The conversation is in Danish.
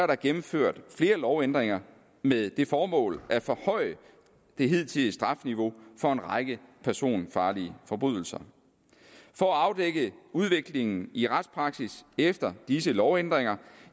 der gennemført flere lovændringer med det formål at forhøje det hidtidige strafniveau for en række personfarlige forbrydelser for at afdække udviklingen i retspraksis efter disse lovændringer